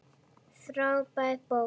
Frábær bók.